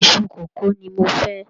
Iṣu kókò ni mo fẹ́.